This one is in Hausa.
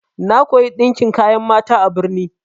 Na koya ɗinkin kayan mata a birni.